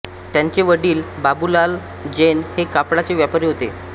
त्यांचे वडील बाबुलाल जैन हे कापडाचे व्यापारी होते